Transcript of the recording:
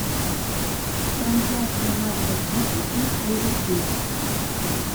трансляция матча сити и ливерпуля